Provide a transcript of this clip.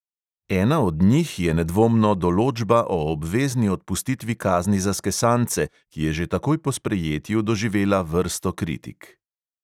Ena od njih je nedvomno določba o obvezni odpustitvi kazni za skesance, ki je že takoj po sprejetju doživela vrsto kritik.